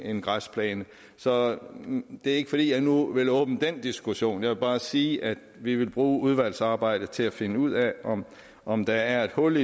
en græsplæne så det er ikke fordi jeg nu vil åbne den diskussion jeg vil bare sige at vi vil bruge udvalgsarbejdet til at finde ud af om om der er et hul